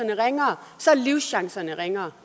ringere så er livschancerne ringere